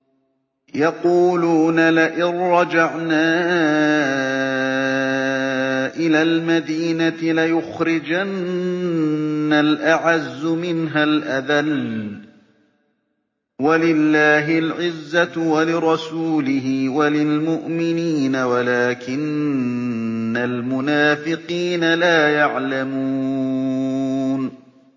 يَقُولُونَ لَئِن رَّجَعْنَا إِلَى الْمَدِينَةِ لَيُخْرِجَنَّ الْأَعَزُّ مِنْهَا الْأَذَلَّ ۚ وَلِلَّهِ الْعِزَّةُ وَلِرَسُولِهِ وَلِلْمُؤْمِنِينَ وَلَٰكِنَّ الْمُنَافِقِينَ لَا يَعْلَمُونَ